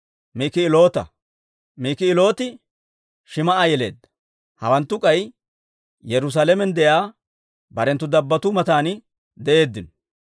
Mik'iloota. Mik'ilooti Shim"a yeleedda. Hawanttu k'ay Yerusaalamen de'iyaa barenttu dabbattuu matan de'eeddino.